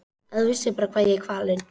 Ef þú bara vissir hvað ég er kvalinn.